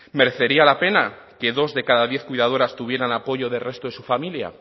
merecería la pena que dos de cada diez cuidadoras tuvieran apoyo del resto de su familia